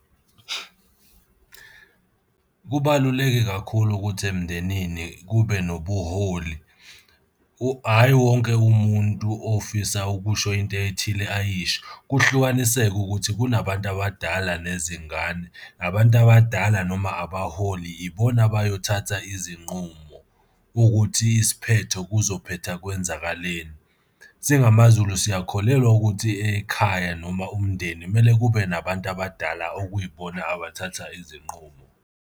Kubaluleke kakhulu ukuthi emndenini kube nobuholi hhayi wonke umuntu ofisa ukusho into ethile ayisho. Kuhlukaniswe ukuthi kunabantu abadala nezingane, abantu abadala noma abaholi, ibona abayothatha izinqumo ukuthi isiphetho kuzophetha kwenzakaleni. SingamaZulu siyakholelwa ukuthi ekhaya noma umndeni kumele kube nabantu abadala okuyibona abathatha izinqumo.